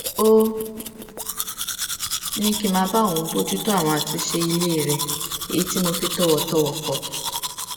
ó ní kí n máa bá òun bójútó àwọn àtúnṣe ilé rẹ èyí tí mo fi tòwòtòwò kọ